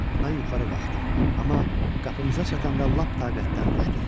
Mən yuxarı qalxdım, amma qapımıza çatanda lap taqətdən düşdüm.